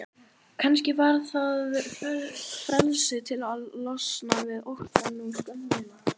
Kannski var það frelsið til að losna við óttann og skömmina.